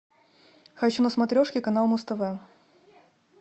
хочу на смотрешке канал муз тв